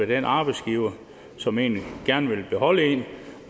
den arbejdsgiver som egentlig gerne vil beholde en